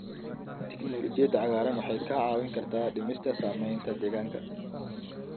Tignoolajiyada cagaaran waxay kaa caawin kartaa dhimista saamaynta deegaanka.